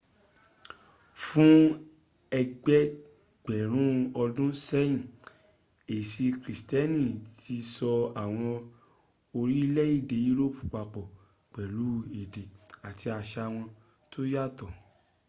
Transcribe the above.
fún ẹgbẹgbẹ̀rùn ọdún sẹ́yìn ẹ̀sì krìstíẹ́nì tí so àwọn orílẹ̀ èdè europe papọ̀ pẹ̀lú èdè àti àṣa wọn tó yàtọ̀